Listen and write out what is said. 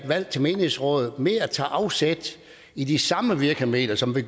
valg til menighedsråd tage afsæt i de samme virkemidler som ved